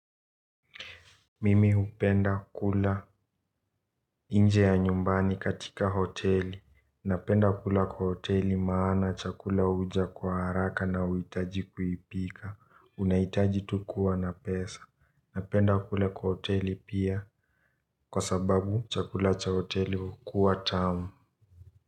Mimi hupenda kula nje ya nyumbani katika hoteli, napenda kula kwa hoteli maana chakula huja kwa haraka na hauhitaji kukipika, unaitaji tu kuwa na pesa, napenda kula kwa hoteli pia kwa sababu chakula cha hoteli huwa tamu.